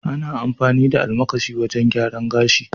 ana amfani da almakashi wajen gyaran gashi.l